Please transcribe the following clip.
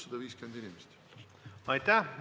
Aitäh!